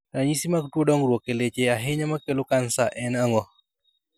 Ranyisi mag tuo dongruok e leche ahinya makelo kansa en ang'o?